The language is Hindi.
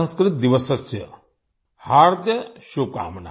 संस्कृतदिवसस्य हार्द्य शुभकामना